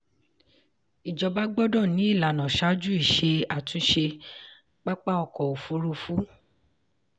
ìjọba gbọ́dọ̀ ní ìlànà ṣáájú iṣẹ́ àtúnṣe pápá ọkọ̀ òfurufú.